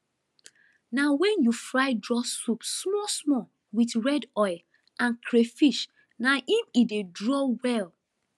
na wen you fry draw soup small small with red oil and crayfish na im e dey draw well